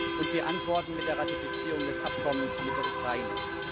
Und wir antworten mit der Ratifizierung des Abkommens mit der Ukraine.